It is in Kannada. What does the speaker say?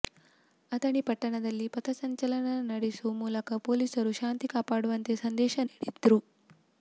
ಅಥಣಿ ಪಟ್ಟಣದಲ್ಲಿ ಪಥ ಸಂಚಲನ ನಡೆಸೋ ಮೂಲಕ ಪೊಲೀಸರು ಶಾಂತಿ ಕಾಪಾಡುವಂತೆ ಸಂದೇಶ ನೀಡಿದ್ರು